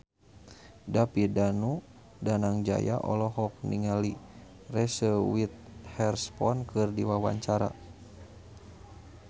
David Danu Danangjaya olohok ningali Reese Witherspoon keur diwawancara